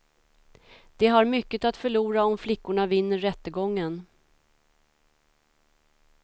De har mycket att förlora om flickorna vinner rättegången.